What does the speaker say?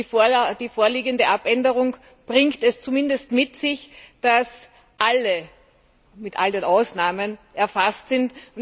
Die vorliegende Abänderung bringt es zumindest mit sich, dass alle mit all den Ausnahmen erfasst sind.